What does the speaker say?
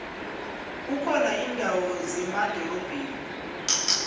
kukhona indawo zemadorobheni